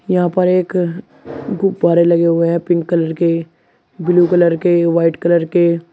यहां पर एक गुब्बारे लगे हुए हैं पिंक कलर के ब्लू कलर के व्हाइट कलर के।